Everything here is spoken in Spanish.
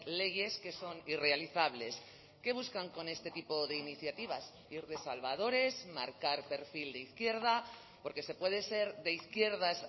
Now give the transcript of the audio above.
leyes que son irrealizables qué buscan con este tipo de iniciativas ir de salvadores marcar perfil de izquierda porque se puede ser de izquierdas